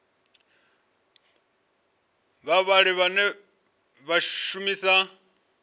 na vhavhali vhane vha shumisa